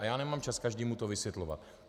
A já nemám čas každému to vysvětlovat.